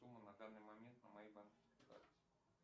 сумма на данный момент на моей карте